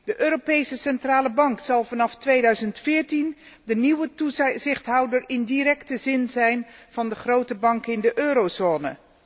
De Europese Centrale Bank zal vanaf 2014 de nieuwe toezichthouder in directe zin zijn van de grote banken in de eurozone.